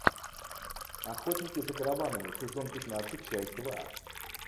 охотники за караванами сезон пятнадцать часть два